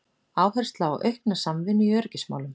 Áhersla á aukna samvinnu í öryggismálum